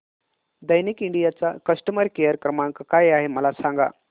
Daikin India चा customer care क्रमांक काय आहे मला सांगा